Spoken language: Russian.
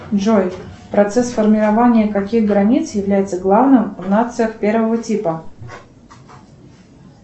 джой процесс формирования каких границ является главным в нациях первого типа